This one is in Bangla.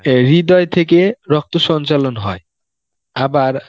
অ্যাঁ হৃদয় থেকে রক্ত সঞ্চালন হয়, আবার